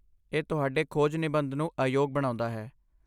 ਇਹ ਤੁਹਾਡੇ ਖੋਜ ਨਿਬੰਧ ਨੂੰ ਅਯੋਗ ਬਣਾਉਂਦਾ ਹੈ।